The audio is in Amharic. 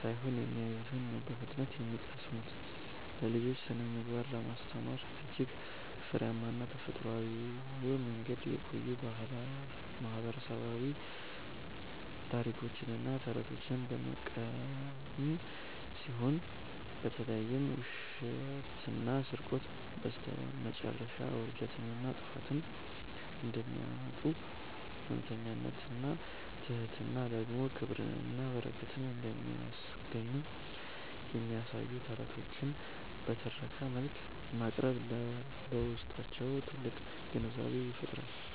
ሳይሆን የሚያዩትን ነው በፍጥነት የሚቀስሙት። ለልጆች ስነ-ምግባርን ለማስተማር እጅግ ፍሬያማና ተፈጥሯዊው መንገድ የቆዩ ማህበረሰባዊ ታሪኮችንና ተረቶችን መጠቀም ሲሆን፣ በተለይም ውሸትና ስርቆት በስተመጨረሻ ውርደትንና ጥፋትን እንደሚያመጡ፣ እውነተኝነትና ትሕትና ደግሞ ክብርንና በረከትን እንደሚያስገኙ የሚያሳዩ ተረቶችን በትረካ መልክ ማቅረብ በውስጣቸው ጥልቅ ግንዛቤን ይፈጥራል።